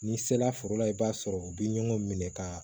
N'i sela foro la i b'a sɔrɔ u bɛ ɲɔgɔn minɛ ka